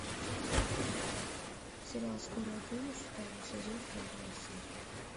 сериал скорая помощь второй сезон вторая серия